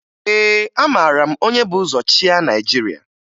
Ee, amara m onye bu ụzọ chịa Naịjirịa